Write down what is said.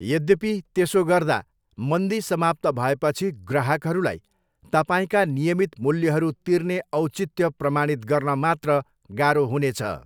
यद्यपि, त्यसो गर्दा मन्दी समाप्त भएपछि ग्राहकहरूलाई तपाईँका नियमित मूल्यहरू तिर्ने औचित्य प्रमाणित गर्न मात्र गाह्रो हुनेछ।